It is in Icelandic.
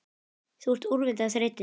Þú ert úrvinda af þreytu